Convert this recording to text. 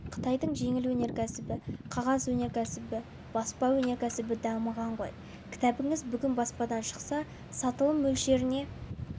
қытайдың жеңіл өнеркәсібі қағаз өнеркәсібі баспа өнеркәсібі дамыған ғой кітабыңыз бүгін баспадан шықса сатылым мөлшеріне